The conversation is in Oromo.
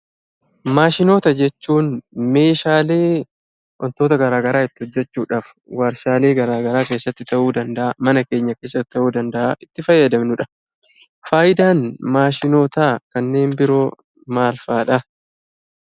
Maashinoota jechuun meeshaalee wantoota garaagaraa itti hojjechuudhaaf, warshaalee garaagaraa keessatti ta'uu danda'aa; mana keenya keessatti ta'uu danda'aa. itti fayyadamnu dha. Faayidaan maashinootaa kanneen biroo maalfaa dha?